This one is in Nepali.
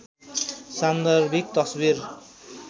सान्दर्भिक तस्वीर